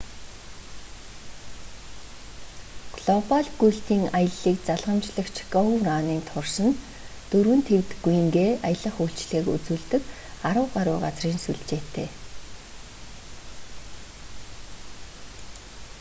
глобаль гүйлтийн аяллыг залгамжлагч гоу раннин турс нь дөрвөн тивд гүйнгээ аялах үйлчилгээг үзүүлдэг арав гаруй газрын сүлжээтэй